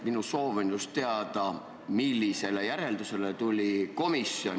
Minu soov on teada, millisele järeldusele komisjon tuli.